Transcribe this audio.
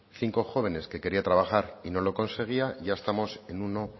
cinco jóvenes que quería trabajar y no lo conseguía ya estamos en uno